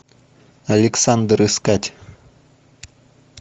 александр искать